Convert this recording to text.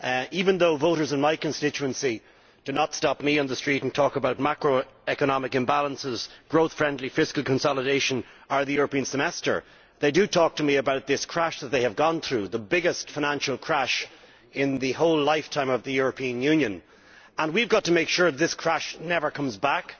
Even though voters in my constituency do not stop me on the street and talk about macroeconomic imbalances, growth-friendly fiscal consolidation or the European Semester, they do talk to me about this crash that they have gone through, the biggest financial crash in the lifetime of the European Union, and we have to make sure that this crash never comes back.